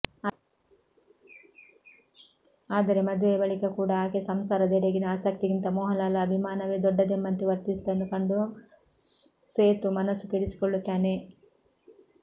ಆದರೆ ಮದುವೆಯ ಬಳಿಕ ಕೂಡ ಆಕೆ ಸಂಸಾರದೆಡೆಗಿನ ಆಸಕ್ತಿಗಿಂತ ಮೋಹನ್ಲಾಲ್ ಅಭಿಮಾನವೇ ದೊಡ್ಡದೆಂಬಂತೆ ವರ್ತಿಸುವುದನ್ನು ಕಂಡು ಸೇತು ಮನಸ್ಸು ಕೆಡಿಸಿಕೊಳ್ಳುತ್ತಾನೆ